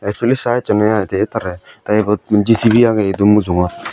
suni sa echondey aai de tarey tey ebot jicibi agey edu mujungot.